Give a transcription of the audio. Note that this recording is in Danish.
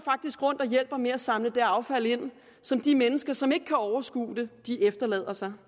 rundt og hjælper med at samle det affald ind som de mennesker som ikke kan overskue det efterlader sig